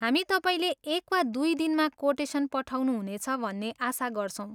हामी तपाईँले एक वा दुई दिनमा कोटेसन पठाउनु हुनेछ भन्ने आशा गर्छौँ।